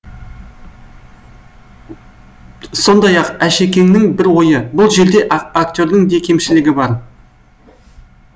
сондай ақ әшекеңнің бір ойы бұл жерде актердің де кемшілігі бар